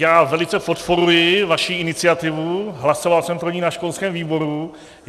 Já velice podporuji vaši iniciativu, hlasoval jsem pro ni na školském výboru.